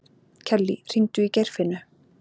Kellý, hringdu í Geirfinnu.